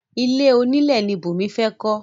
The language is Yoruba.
Ilé onílẹ̀ ni Bùnmi fẹ́ kọ́